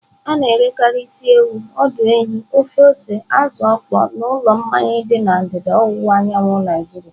A na-erekarị isi ewu, ọdụ ehi, ofe ose azụ okpo n'ụlọ mmanya dị na ndịda ọwụwa anyanwụ Naijiria.